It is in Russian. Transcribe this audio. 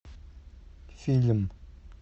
фильм